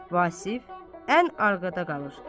Vasif ən arxada qalır.